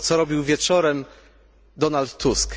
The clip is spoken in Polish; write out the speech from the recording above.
Albo co robił wieczorem Donald Tusk?